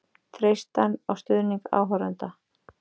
Treysta á stuðning áhorfenda